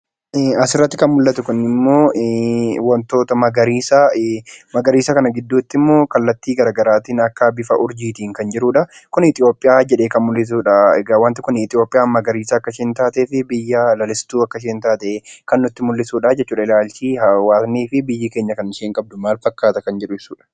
Asirratti kan mul'atu kun immoo waantota magariisa. Magariisa kana immoo kallattii garaagaraatiin akka bifa urjiitiin kan jirudha. Kun Itoophiyaa jedhee kan mul'isudha waanti Kun Itoophiyaan magariisa akka isheen taatee fi biyya lalistuu akka isheen taate kan nutti mul'isudha. Ilaalchi fi hawaasni akkasumas biyyi keenya kan isheen qabdu maal fakkaata jedhu ibsudha.